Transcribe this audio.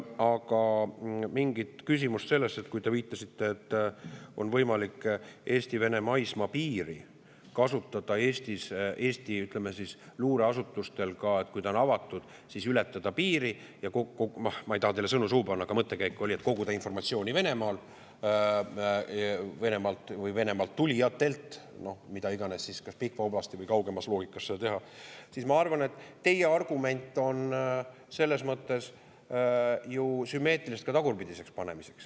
Aga kui te viitasite, et on võimalik Eesti-Vene maismaapiiri kasutada Eesti luureasutustel, et kui piir on avatud, siis seda ületada selleks – ma ei taha teile sõnu suhu panna, aga mõttekäik oli selline –, et koguda informatsiooni Venemaal või Venemaalt tulijatelt, mida iganes, kas Pihkva oblastis või kaugemas loogikas seda teha, siis ma arvan, et teie argument on selles mõttes ju sümmeetriliselt ka tagurpidine.